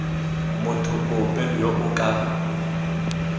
motho ope yo o ka